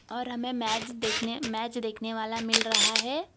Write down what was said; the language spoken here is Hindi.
और हमें मैच देखने मैच देखने वाला मिल रहा है।